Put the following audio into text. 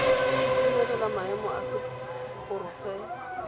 go itumelela maemo a seporofe